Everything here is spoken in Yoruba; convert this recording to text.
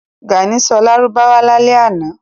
Gàní sọ Lárúbáwá lálẹ́ ànọ́